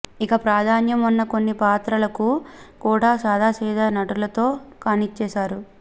ఇక ప్రాధాన్యం ఉన్న కొన్ని పాత్రలకు కూడా సాదాసీదా నటులతో కానిచ్చేశారు